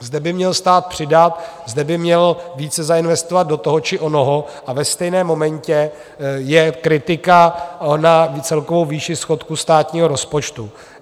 Zde by měl stát přidat, zde by měl více zainvestovat do toho či onoho, a ve stejném momentě je kritika na celkovou výši schodku státního rozpočtu.